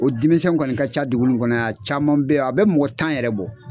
O denmisɛn kɔni ka ca dugu nin kɔnɔ ya, a caman be ye a bɛ mɔgɔ tan yɛrɛ bɔ.